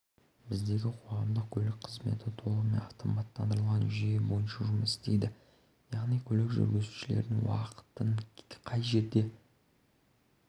біздегі қоғамдық көлік қызметі толығымен автоматтандырылған жүйе бойынша жұмыс істейді яғни көлік жүргізушілерінің уақытын қай жерде